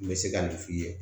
N bɛ se ka nin f'i ye